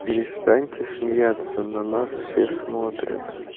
перестаньте смеяться на нас все смотрят